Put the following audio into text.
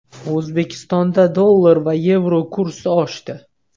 O‘zbekistonda dollar va yevro kursi oshdi.